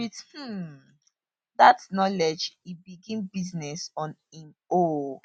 wit um dat knowledge e begin business on im own